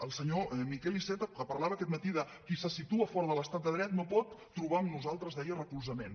al senyor miquel iceta que parlava aquest matí de qui se situa fora de l’estat de dret no pot trobar en nosaltres deia recolzament